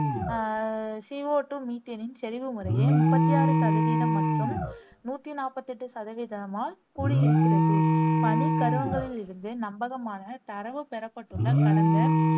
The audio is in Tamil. அஹ் சி ஓ டூ, மீத்தேனின் செறிவு முறையே முப்பத்தி ஆறு சதவீதம் மற்றும் நூத்தி நாப்பத்தி எட்டு சதவீதமால் கூடியிருக்கிறது. பனிக் கருவங்களிலிருந்து நம்பகமான தரவு பெறப்பட்டுள்ள கடந்த